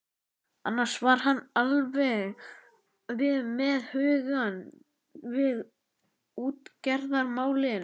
Annars var hann alveg með hugann við útgerðarmálin.